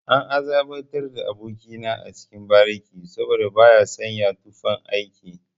An azabtar da aboki na a cikin bariki saboda baya sanya tufan aiki.